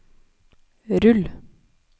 rull